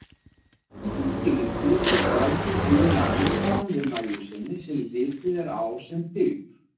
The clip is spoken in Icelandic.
Í þeim skilningi er græðgi eiginlega andstæðan við nægjusemi, sem litið er á sem dygð.